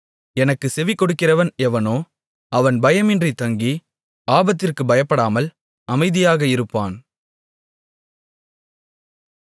எனக்குச் செவிகொடுக்கிறவன் எவனோ அவன் பயமின்றி தங்கி ஆபத்திற்குப் பயப்படாமல் அமைதியாக இருப்பான்